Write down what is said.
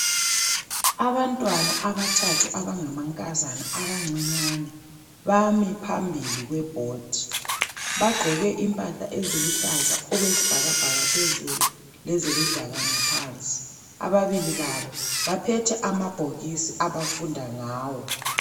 Abantwana abathathu abangamankazana abancinyane bami phambili kwebhodi. Bagqoke impahla eziluhlaza okwesibhakabhaka phezulu leziludaka ngaphansi. Ababili babo baphethe amabhokisi abafunda ngawo.